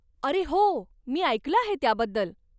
अरे हो, मी ऐकलं आहे त्याबद्दल.